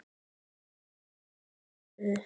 sætur sigur Mestu vonbrigði?